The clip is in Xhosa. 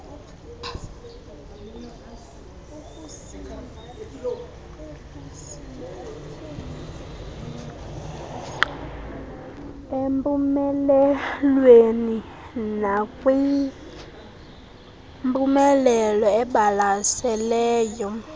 empumelelweni nakwimpumelelo ebalaseley